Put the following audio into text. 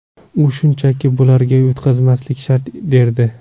U shunchaki bularga yutqazmaslik shart derdi.